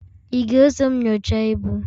Ị ga-eso m nyochaa ibu?